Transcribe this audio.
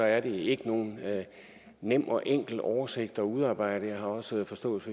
er det ikke nogen nem og enkel oversigt at udarbejde jeg har også forståelse